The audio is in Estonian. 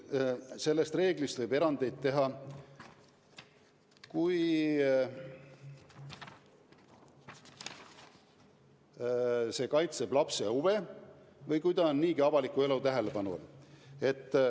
Sellest reeglist võib erandeid teha, kui see kaitseb lapse huve või kui laps on niigi avaliku elu tähelepanu all.